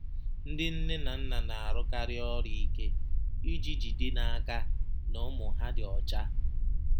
Ndị nne na nna na-arụkarị ọrụ ike iji jide n’aka na ụmụ ha dị ọcha.